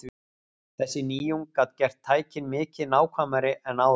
Þessi nýjung gat gert tækin mikið nákvæmari en áður.